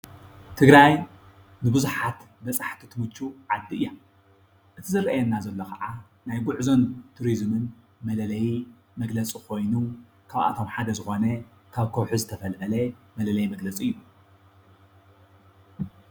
ትግራይ ንብዙሓት በፃሕቲ ትምቹ ዓዲ እያ፡፡ እቲ ዝርአየና ዘሎ ከዓ ናይ ጉዕዞን ቱሪዝምን መለለዪ መግለፂ ኮይኑ ካብኣቶም ሓደ ዝኾነ ካብ ከውሒ ዝተፈልፈለ መለለዪ መግለፂ እዩ፡፡